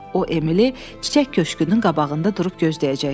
O Emili çiçək köşkünün qabağında durub gözləyəcək.